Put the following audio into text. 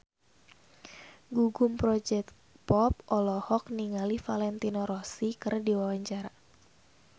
Gugum Project Pop olohok ningali Valentino Rossi keur diwawancara